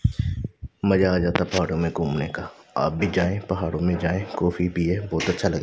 मजा आ जाता है पहाड़ों में घूमने का आप भी जाए पहाड़ों में जाए कॉफ़ी पीए बहोत अच्छा ल--